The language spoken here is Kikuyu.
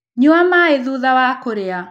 Nyua maĩ thũtha wa kũrĩa